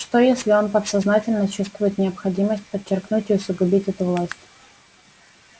что если он подсознательно чувствует необходимость подчеркнуть и усугубить эту власть